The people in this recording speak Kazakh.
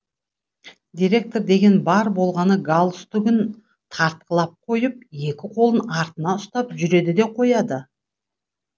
директор деген бар болғаны галстугін тартқылап қойып екі қолын артына ұстап жүреді де қояды